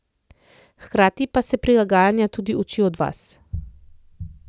Hkrati pa se prilagajanja tudi uči od vas.